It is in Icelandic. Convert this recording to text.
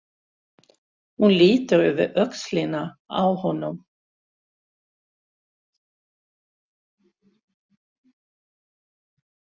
Hún lítur yfir öxlina á honum.